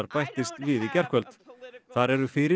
bættist við í gærkvöld þar eru fyrir